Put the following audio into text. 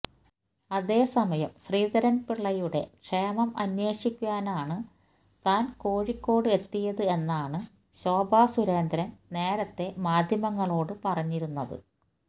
അതേ സമയം ശ്രീധരൻ പിള്ളയുടെ ക്ഷേമം അന്വേഷിക്കാനാണ് താൻ കോഴിക്കോട് എത്തിയത് എന്നാണ് ശോഭ സുരേന്ദ്രൻ നേരത്തെ മാധ്യമങ്ങളോട് പറഞ്ഞിരുന്നത്